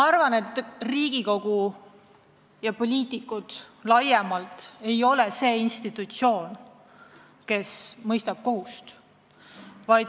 Riigikogu ja poliitikud laiemalt ei ole muidugi institutsioon, kes mõistab kohut.